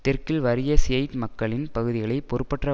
தெற்கில் வறிய ஷியைட் மக்களின் பகுதிகளை பொறுப்பற்ற